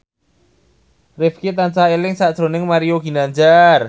Rifqi tansah eling sakjroning Mario Ginanjar